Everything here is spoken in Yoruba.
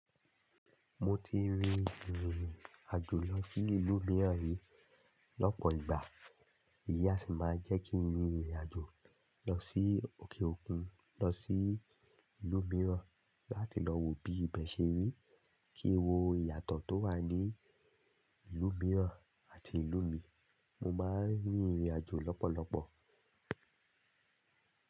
Mo ti rin ìrìn àjò lọ sí ìlú mìíràn rí lọ́pọ̀ ìgbà. Eyi a sì máa jẹ́ kí n rin ìrìn àjò lọ sí òkè òkun, lọ sí ìlú mìíràn láti lọ wo bí ibẹ̀ ṣe rí, kí wó ìyàtọ̀ tó wà ní ìlú mìíràn àti ìlú mi. Mo máa ń rin ìrìn àjò lọ́pọ̀lọpọ̀.